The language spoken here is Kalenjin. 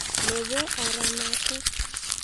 Nebo oranatok